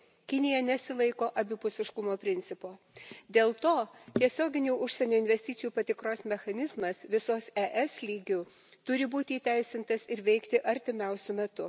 Kinija nesilaiko abipusiškumo principo. Dėl to tiesioginių užsienio investicijų patikros mechanizmas visos ES lygiu turi būti įteisintas ir veikti artimiausiu metu.